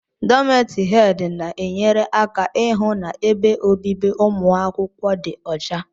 Dómeti hedi na enyere aka ịhụ na ebe obibi umuakwukwo dị ọcha.